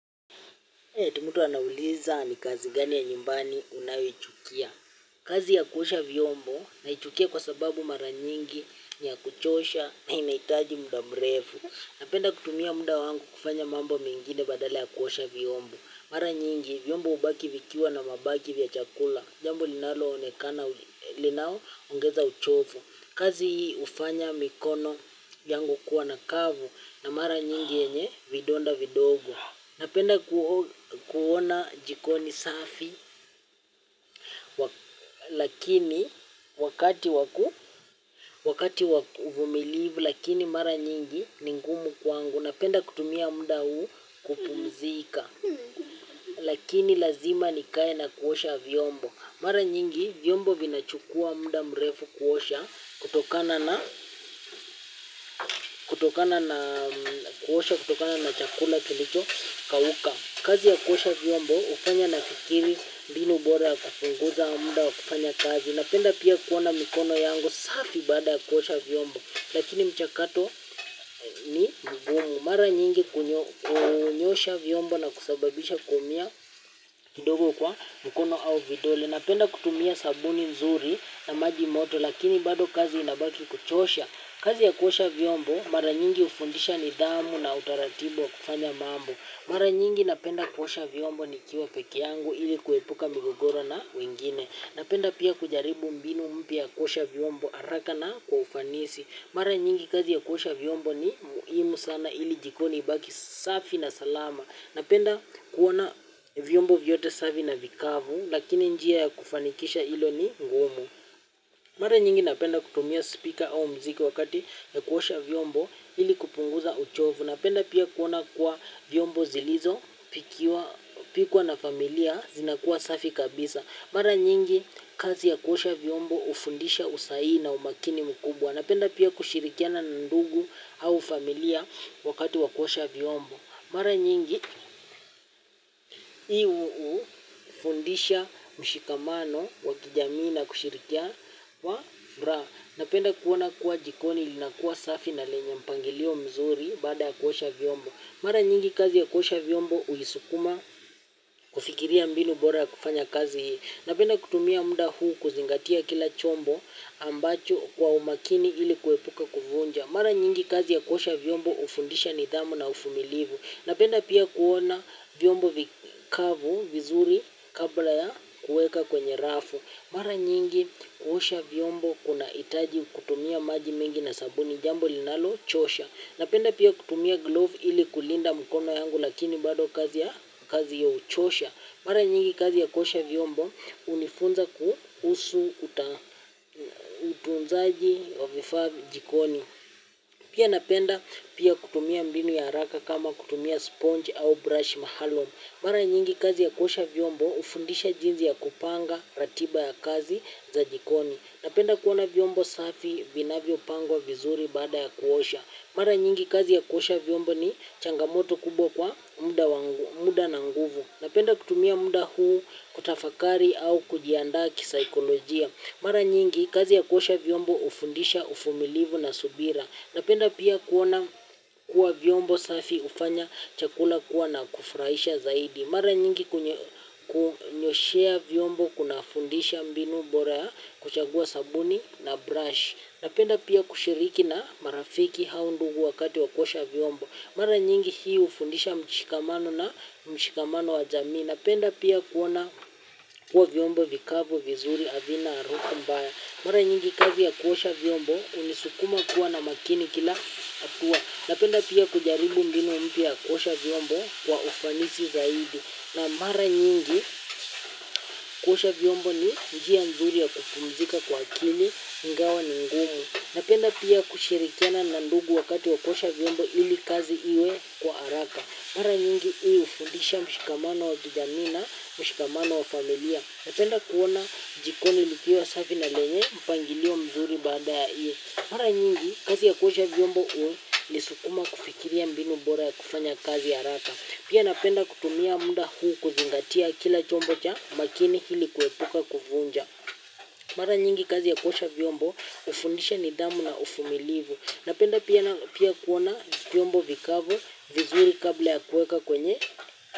Ati mtu anauliza ni kazi gani ya nyumbani unayoichukia. Kazi ya kuosha vyombo naichukia kwa sababu mara nyingi ni ya kuchosha na inahitaji muda mrefu. Napenda kutumia muda wangu kufanya mambo mengine badala ya kuosha vyombo. Mara nyingi vyombo hubaki vikiwa na mabaki vya chakula. Jambo linaloonekana linaoongeza uchovu. Kazi hufanya mikono yangu kuwa na kavu na mara nyingi yenye vidonda vidogo. Napenda kuona jiko ni safi lakini wakati wa uvumilivu lakini mara nyingi ni ngumu kwangu. Napenda kutumia muda huu kupumzika lakini lazima nikae na kuosha vyombo. Mara nyingi vyombo vinachukua muda mrefu kuosha kutokana na kuosha kutokana na chakula kilichokauka. Kazi ya kuosha vyombo hufanya nafikiri mbinu bora ya kupunguza muda wa kufanya kazi. Napenda pia kuona mikono yangu safi baada ya kuosha vyombo. Lakini mchakato ni mgumu. Mara nyingi kunyosha vyombo na kusababisha kuumia kidogo kwa mikono au vidole. Napenda kutumia sabuni nzuri na maji moto lakini bado kazi inabaki kuchosha. Kazi ya kuosha viombo mara nyingi hufundisha nidhamu na utaratibu wa kufanya mambo. Mara nyingi napenda kuosha vyombo nikiwa peke yangu ili kuepuka migogoro na wengine. Napenda pia kujaribu mbinu mpya ya kuosha vyombo haraka na kwa ufanisi. Mara nyingi kazi ya kuosha vyombo ni muhimu sana ili jikoni ibaki safi na salama. Napenda kuona vyombo vyote safi na vikavu lakini njia ya kufanikisha hilo ni ngumu. Mara nyingi napenda kutumia speaker au muziki wakati ya kuosha vyombo ili kupunguza uchovu. Napenda pia kuona kuwa vyombo zilizopikwa na familia zinakuwa safi kabisa. Mara nyingi kazi ya kuosha vyombo hufundisha usahihi na umakini mkubwa. Napenda pia kushirikiana na ndugu au familia wakati wa kuosha vyombo. Mara nyingi hii hufundisha mshikamano wa kijamii na kushirikia wa furaha. Napenda kuona kuwa jikoni linakuwa safi na lenye mpangilio mzuri baada ya kuosha vyombo. Mara nyingi kazi ya kuosha vyombo hunisukuma kufikiria mbinu bora ya kufanya kazi hii. Napenda kutumia muda huu kuzingatia kila chombo ambacho kwa umakini ili kuepuka kuvunja. Mara nyingi kazi ya kuosha vyombo hufundisha nidhamu na uvumilivu. Napenda pia kuona vyombo vikavu vizuri kabla ya kuweka kwenye rafu. Mara nyingi kuosha vyombo kunahitaji kutumia maji mengi na sabuni jambo linalochoosha. Napenda pia kutumia glove ili kulinda mkono yangu lakini bado kazi hiyo huchosha. Mara nyingi kazi ya kuosha vyombo hunifunza kuhusu utunzaji wa vifaa jikoni. Pia napenda pia kutumia mbinu ya haraka kama kutumia sponge au brush mahalo. Mara nyingi kazi ya kuosha vyombo hufundisha jinsi ya kupanga ratiba ya kazi za jikoni. Napenda kuona vyombo safi vinavyopangwa vizuri baada ya kuosha. Mara nyingi kazi ya kuosha vyombo ni changamoto kubwa kwa muda na nguvu. Napenda kutumia muda huu kutafakari au kujiandaa kisaikolojia. Mara nyingi kazi ya kuosha vyombo hufundisha uvumilivu na subira. Napenda pia kuona kuwa vyombo safi hufanya chakula kuwa na kufurahisha zaidi. Mara nyingi kunyoshea vyombo kunafundisha mbinu bora ya kuchagua sabuni na brush. Napenda pia kushiriki na marafiki au ndugu wakati wa kuosha vyombo. Mara nyingi hii hufundisha mshikamano na mshikamano wa jamii. Napenda pia kuona kuwa vyombo vikavu vizuri havina harufu mbaya. Mara nyingi kazi ya kuosha vyombo hunisukuma kuwa na makini kila hatua. Napenda pia kujaribu mbinu mpya ya kuosha vyombo kwa ufanisi zaidi. Na mara nyingi kuosha vyombo ni njia nzuri ya kupumzika kwa akili ingawa ni ngumu. Napenda pia kushirikiana na ndugu wakati wa kuosha vyombo ili kazi iwe kwa haraka. Mara nyingi hii hufundisha mshikamano wa kijamii na mshikamano wa familia. Napenda kuona jikoni likiwa safi na lenye mpangilio mzuri baada ya hii. Mara nyingi kazi ya kuosha vyombo hunisukuma kufikiria mbinu bora ya kufanya kazi haraka. Pia napenda kutumia muda huu kuzingatia kila chombo cha makini ili kuepuka kuvunja. Mara nyingi kazi ya kuosha vyombo hufundisha nidhamu na uvumilivu. Napenda pia pia kuona vyombo vikavu vizuri kabla ya kuweka kwenye.